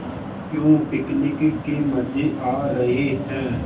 क्यों पिकनिक के मज़े आ रहे हैं